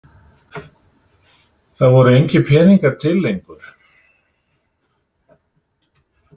Það voru engir peningar til lengur.